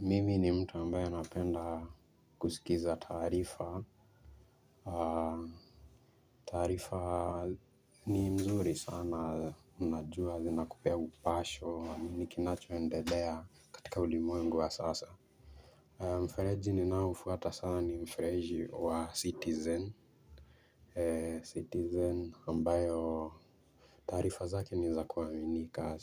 Mimi ni mtu ambaye anapenda kusikiza taarifa. Taarifa ni mzuri sana unajua zina kupea upasho nini kinacho endelea katika ulimwengu wa sasa. Mfereji ninao ufuata sana ni mfereji wa citizen Citizen ambayo taarifa zake niza kuaminika.